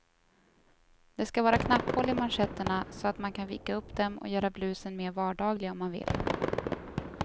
Det ska vara knapphål i manschetterna så att man kan vika upp dem och göra blusen mer vardaglig om man vill.